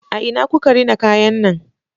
A ina kuka rina kayan nan?